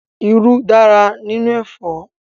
Irú dára nínú ẹ̀fọ́.